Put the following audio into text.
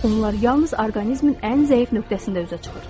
Onlar yalnız orqanizmin ən zəif nöqtəsində üzə çıxır.